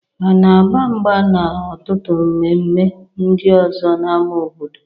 A na agba mgba na ọtụtụ mme mme ndị ọzọ n'ámá obodo